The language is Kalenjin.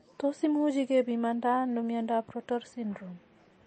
Tos imuchi kepimanda ano miondop Rotor syndrome?